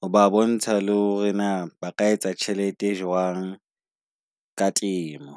Ho ba bontsha le hore na ba ka etsa tjhelete e jwang ka temo.